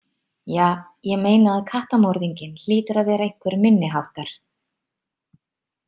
Ja, ég meina að kattamorðinginn hlýtur að vera einhver minniháttar.